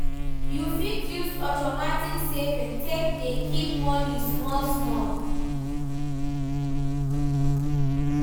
You fit use automatic savings take dey keep money small small